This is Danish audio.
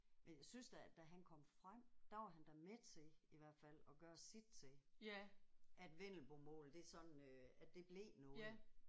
Men jeg synes da da han kom frem der var han da med til i hvert fald at gøre sit til at vendelbomål det sådan øh at det blev noget